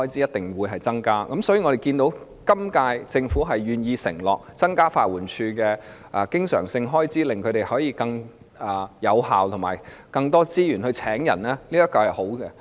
我們看到本屆政府願意承諾增加法援署的經常開支，令它能更有效工作和有更多資源聘請人手，這是好事。